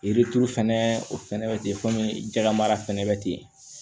Yiri turu fɛnɛ o fɛnɛ be ten jalamara fɛnɛ be ten